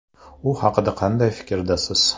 U haqida qanday fikrdasiz?